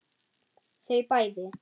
Þau bæði.